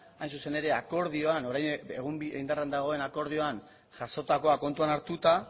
hain zuzen ere indarrean dagoen akordioan jasotakoa kontuan hartuta